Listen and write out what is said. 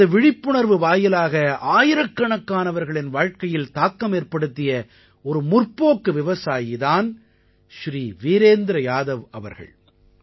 தனது விழிப்புணர்வு வாயிலாக ஆயிரக்கணக்கானவர்களின் வாழ்க்கையில் தாக்கமேற்படுத்திய ஒரு முற்போக்கு விவசாயி தான் ஸ்ரீ வீரேந்த்ர யாதவ் அவர்கள்